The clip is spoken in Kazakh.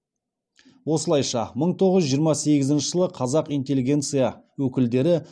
осылайша мың тоғыз жүз жиырма сегізінші жылы қазақ интеллигенция өкілдері